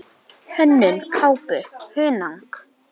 Hönnun kápu: Hunang.